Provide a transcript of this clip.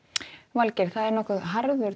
Valgeir það er nokkuð harður